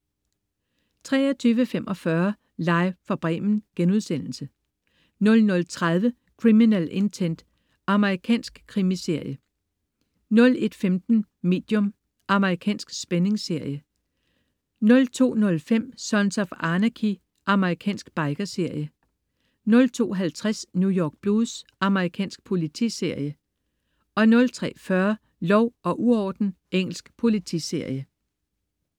23.45 Live fra Bremen* 00.30 Criminal Intent. Amerikansk krimiserie 01.15 Medium. Amerikansk spændingsserie 02.05 Sons of Anarchy. Amerikansk biker-serie 02.50 New York Blues. Amerikansk politiserie 03.40 Lov og uorden. Engelsk politiserie